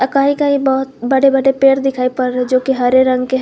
कई कई बहोत बड़े बड़े पेड़ दिखाई पर जो की हरे रंग के हैं।